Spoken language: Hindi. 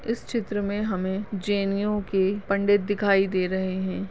इस चित्र मे हमें जैनीयों के पंडित दिखाई दे रहे है।